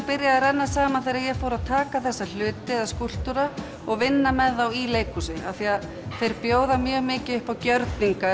byrjaði að renna saman þegar ég fór að taka þessa hluti eða skúlptúra og vinna með þá í leikhúsi af því þeir bjóða mjög mikið upp á gjörninga